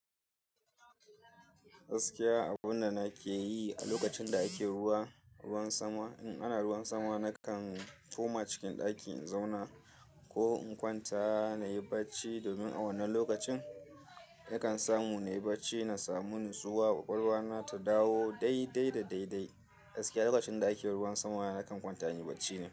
Gaskiya abun da nake yi a lokacin da ake ruwa, ruwan sama in ana ruwan sama nakan koma cikin ɗaki in zauna ko in kwanta nayi bacci domin a wannan lokacin nakan samu nayi bacci na samu ni tsuwa kwakwalwa na ta dawo dai dai da dai dai. Gaskiya lokacin da ake ruwan sama nakan kwanta inyi bacci na.